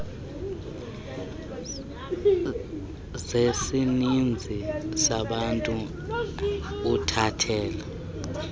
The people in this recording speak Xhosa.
zesininzi sabantu uthathela